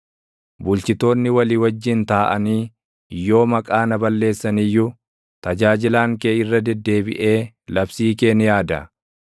Bulchitoonni walii wajjin taaʼanii yoo maqaa na balleessan iyyuu, tajaajilaan kee irra deddeebiʼee labsii kee ni yaada.